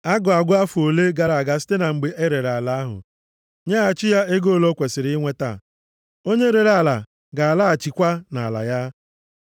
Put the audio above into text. A ga-agụ afọ ole gara site na mgbe o rere ala ahụ, nyeghachi ya ego ole o kwesiri inweta. Onye rere ala ga-alaghachikwa nʼala ya.